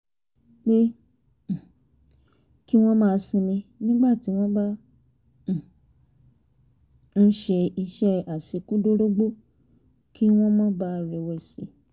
pé um kí wọ́n máa sinmi nígbà tí wọ́n bá um ń ṣe iṣẹ́ àṣekúdórógbó kí wọ́n má bàa rẹ̀wẹ̀sì